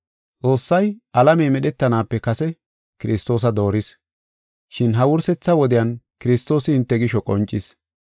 Xoossay alamey medhetanaape kase Kiristoosa dooris, shin ha wursetha wodiyan Kiristoosi hinte gisho qoncis.